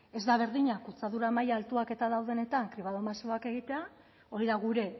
ez da berdina kutsadura maila altuak eta daudenetan kribado masiboak egitea hori da gure